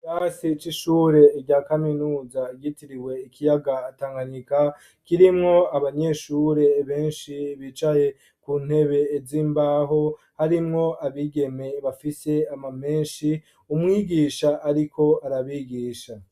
Ikirasi c'ishure rya kaminuza ryitiriwe ikiyaga tanganyika kirimwo abanyeshure benshi bicaye ku ntebe ez'imbaho harimwo abigeme bafise ama menshi umwigisha ariko arabigisha.